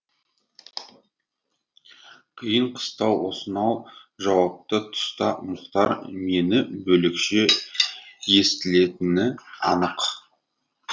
қиын қыстау осынау жауапты тұста мұхтар мені бөлекше естілетіні анық